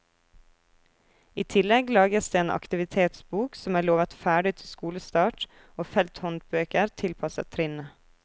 I tillegg lages det en aktivitetsbok, som er lovet ferdig til skolestart, og felthåndbøker tilpasset trinnet.